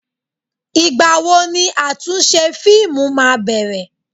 Ìgbà wo ni àtúnṣe fíìmù máa bẹ̀rẹ̀?